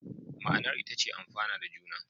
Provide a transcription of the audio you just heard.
Ma'anar ita ce amfana da juna.